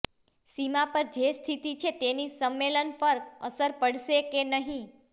સીમા પર જે સ્થિતિ છે તેની સંમેલન પર અસર પડશે કે નહીં